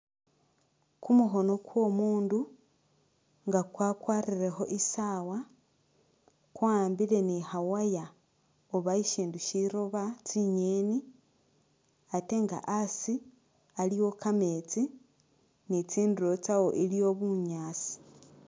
Kumukhono kwomundu nga kwa kwarilekho isaawa kwahambile ni kha wire oba shishindu shiloba tsinyeni atenga hasi aliwo kameetsi ni tsinduro tsawo iliwo bunyasi.